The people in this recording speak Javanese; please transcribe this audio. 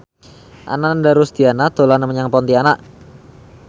Ananda Rusdiana dolan menyang Pontianak